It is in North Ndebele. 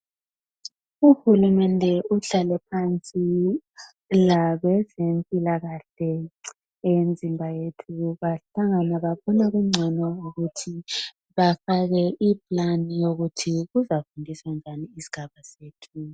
Uhulumende uhlale phansi labezempilakahle eyemzimba yethu bahlangana babona kungcono ukuthi bafake iplan yokuthi bazafundisa njani isigaba sethu.